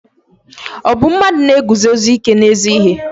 Ọ bụ mmadụ na-eguzosi ike n'ezi ihe?